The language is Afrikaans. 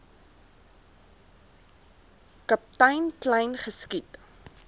kaptein kleyn geskiet